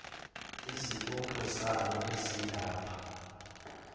izibopho zalo ezilapha